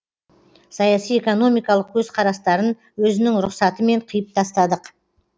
саяси экономикалық көзқарастарын өзінің рұқсатымен қиып тастадық